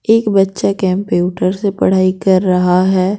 एक बच्चा कंप्यूटर से पढ़ाई कर रहा है।